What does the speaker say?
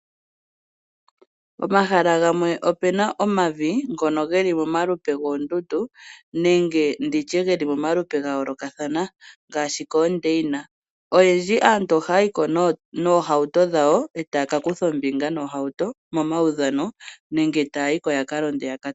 Pomahala gamwe ope na omavi ngono ge li momalupe gwoondundu nenge ndi tye ge li momalupe ga yoolokathana ngaashi koondeina, olundji aantu ohaya yi ko noohauto dhawo e taya ka kutha omibinga noohauto momaudhano nenge taya yi ko ya ka londe